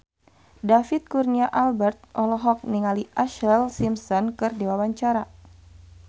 David Kurnia Albert olohok ningali Ashlee Simpson keur diwawancara